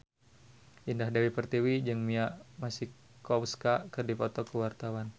Indah Dewi Pertiwi jeung Mia Masikowska keur dipoto ku wartawan